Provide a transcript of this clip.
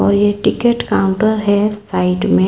और ये ticket counter है साइड में।